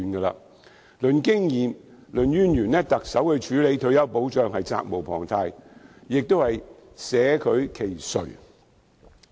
論經驗、論淵源，特首處理退休保障是責無旁貸，捨她其誰？